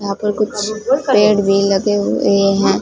यहां पर कुछ पेड़ भी लगे हुए है।